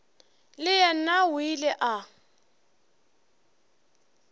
le yena o ile a